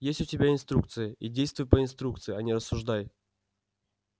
есть у тебя инструкция и действуй по инструкции а не рассуждай